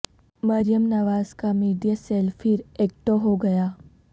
مریم نواز کا media cell پھر active ہو گیا